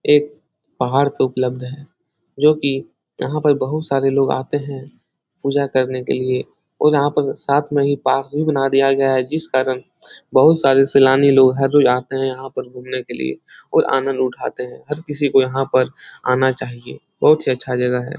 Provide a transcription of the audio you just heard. एक पहाड़ पे उपलब्ध है। जो कि यहाँ पे बहोत सारे लोग आते हैं। पूजा करने के लिए और यहाँ पर साथ में ही पास भी बना दिया गया है जिस कारन बहोत सारे सैलानी लोग हर रोज आते हैं। यहाँ पर घूमने के लिए और आनंद उठाते हैं। हर किसी को यहाँ पर आना चाहिए। बहोत ही अच्छा जगह है।